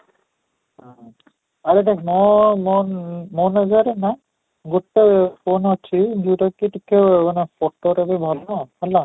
ଆରେ ଦେଖ ମୋ ମୋ ମୋ ନିଜର ନା ଗୋଟେ phone ଅଛି ଯୋଉଟା ଟିକେ ମାନେ photo ରେ ବି ଭଲ ହେଲା